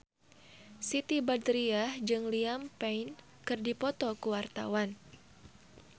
Siti Badriah jeung Liam Payne keur dipoto ku wartawan